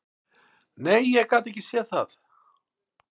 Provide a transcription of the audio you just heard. Nei, ég gat ekki séð það.